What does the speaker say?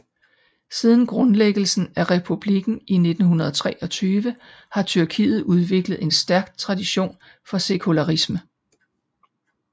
Siden grundlæggelsen af republikken i 1923 har Tyrkiet udviklet en stærk tradition for sekularisme